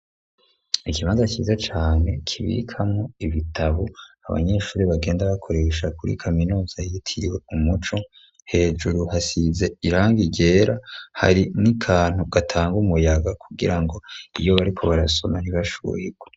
Ikimaza kiza cane kibikamwo ibitabu abanyeshuri bagenda bakoresha kuri kaminoza yitiriwe u muco hejuru hasize iranga igera hari n'ikantu gatanga umuyaga kugira ngo iyo bariko barasoma ntibashuhirwe.